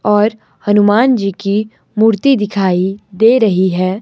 और हनुमान जी की मूर्ति दिखाई दे रही है।